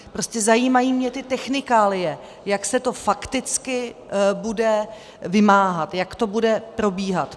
Prostě mě zajímají ty technikálie, jak se to fakticky bude vymáhat, jak to bude probíhat.